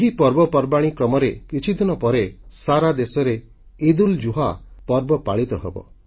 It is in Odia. ଏହି ପର୍ବପର୍ବାଣୀ କ୍ରମରେ କିଛିଦିନ ପରେ ସାରା ଦେଶରେ ଇଦ୍ଉଲ୍ଜୁହା ପର୍ବ ପାଳିତ ହେବ